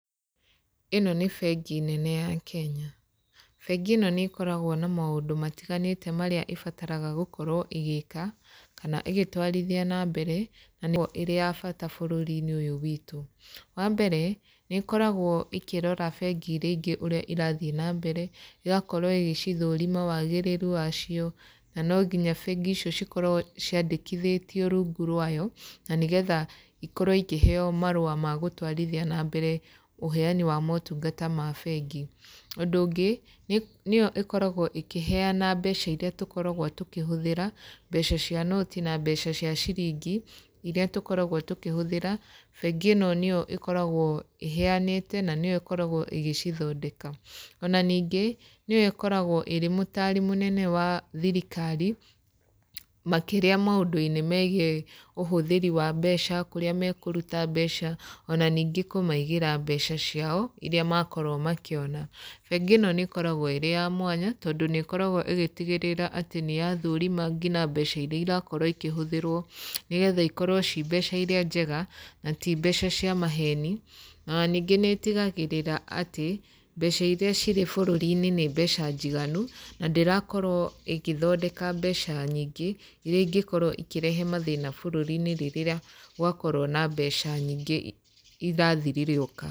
Ĩno nĩ bengi nene ya Kenya. Bengi ĩno nĩ ĩkoragwo na maũndũ matiganĩte marĩa ĩbataraga gũkorwo ĩgĩka, kana ĩgĩtwarithia na mbere, na nĩ ĩkoragwo ĩrĩa ya bata brũũri-inĩ ũyũ witũ. Wa mbere, nĩ ĩkoragwo ĩkĩrora bengi irĩa ingĩ ũrĩa irathiĩ na mbere, ĩgakorwo ĩgĩcithũrima wagĩrĩru wacio, na no nginya bengi icio cikorwo ciandĩkithĩtio rungu rwayo, na nĩgetha ikorwo ikĩheeo marũa ma gũtwarithia na mbere ũheani wa motungata ma bengi. Ũndũ ũngĩ, nĩ nĩyo ĩkoragwo ĩkĩheana mbeca irĩa tũkoragwo tũkĩhũthĩra, mbeca cia noti na mbeca cia ciringi, irĩa tũkoragwo tũkĩhũthĩra, bengi ĩno nĩyo ĩkoragwo ĩheanĩte, na nĩyo ĩkoragwo ĩgĩcithondeka. Ona ningĩ, nĩyo ĩkoragwo ĩrĩ mũtaari mũnene wa thirikari, makĩria maũndũ-inĩ megiĩ ũhũthĩri wa mbeca, kũrĩa mekũruta mbeca, ona ningĩ kũmaigĩra mbeca ciao, irĩa makorwo makĩona. Bengi ĩno nĩ ĩkoragwo ĩrĩ ya mwanya, tondũ nĩ ĩkoragwo ĩgĩtigĩrĩra atĩ nĩ yathũrima ngina mbeca irĩa irakorwo ikĩhũthĩrwo, nĩgetha ikorwo ci mbeca irĩa njega, na ti mbeca cia maheni. Ona ningĩ nĩ ĩtigagĩrĩra atĩ, mbeca irĩa cirĩ bũrũri-inĩ nĩ mbeca njiganu, na ndĩrakorwo ĩkĩthondeka mbeca nyingĩ, irĩa ingĩkorwo ikĩrehe mathĩna bũrũri-inĩ rĩrĩa, gwakorwo na mbeca nyingĩ irathiririũka.